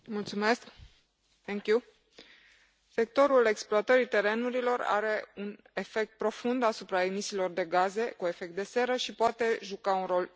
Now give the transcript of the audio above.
Sectorul exploatării terenurilor are un efect profund asupra emisiilor de gaze cu efect de seră și poate juca un rol uriaș în eliminarea lor din atmosferă.